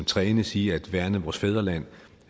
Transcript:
trænes i at værne vores fædreland